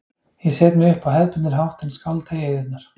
Ég set mig upp á hefðbundinn hátt en skálda í eyðurnar.